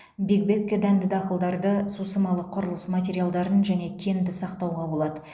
биг бэгке дәнді дақылдарды сусымалы құрылыс материалдарын және кенді сақтауға болады